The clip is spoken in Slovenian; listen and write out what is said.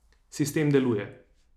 Sistem deluje.